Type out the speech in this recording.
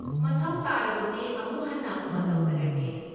ꯃꯊꯧ ꯇꯥꯔꯕꯗꯤ ꯑꯃꯨꯛ ꯍꯟꯅ ꯐꯣꯟ ꯇꯧꯖꯔꯛꯀꯦ꯫